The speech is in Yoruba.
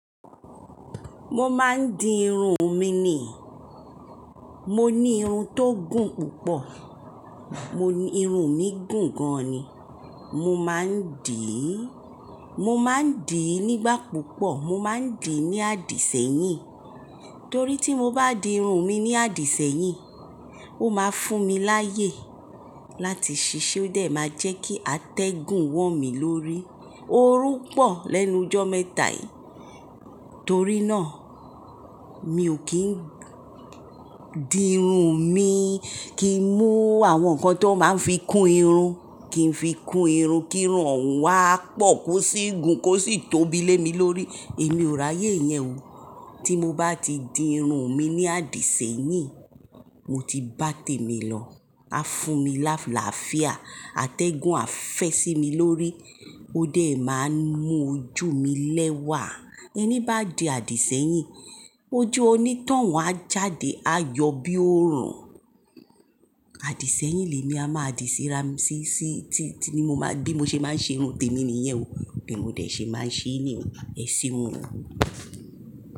Mo máa ń di irun mi ni. Mo ní irun tó gùn púpọ̀. Mo ní irun mí gùn gan ni. Mo máa ń dì í, mo máa ń dì í nígbà púpọ̀. Mo máa ń dì í ní àdìsẹ́yìn. Torí tí mo bá di irun mi ní àdìsẹ́yìn, ó máa ń fún mi láyè láti ṣiṣẹ́, ó dẹ̀ máa jẹ́ kí atẹ́gùn wọ̀n mí lórí. Ó rún pọ̀ lẹ́nu jọ́ mẹ́ta yìí. Torí náà mi ò kí ń di irun mi, kí n mú àwọn nǹkan tó máa ń fi kún irun, kí n fi kún irun kí irun òun wá pọ̀, kó sì gùn, kó sì tóbi lé mi lórí. Èmi ò ráyè yẹn o. Tí mo bá ti di irun mi ní àdìsẹ́yìn, mo ti bá tèmi lọ. A fún mi lálàáfíà, atẹ́gùn á fẹ́ sí mi lórí, ó dẹ̀ máa ń mú ojú mi lẹ́wà. Ẹni bá di àdìsẹ́yìn, ojú oní toun a jáde, a yọ bí ó rùn. Àdìsẹ́yìn lè mi a máa dì síra mí, sí sí tí, tí ni mo máa bí mo ṣe máa ń ṣe irun tèmi nìyẹn o. Bí mo dẹ̀ ṣe máa ń ṣe ní o, ẹ ṣeun o.